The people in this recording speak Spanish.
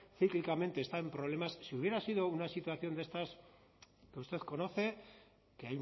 cíclicamente está en problemas si hubiera sido una situación de estas que usted conoce que